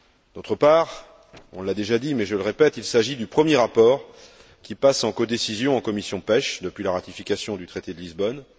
D'autre part, on l'a déjà dit, mais je le répète, il s'agit du premier rapport qui passe en codécision en commission de la pêche depuis la ratification du traité de Lisbonne.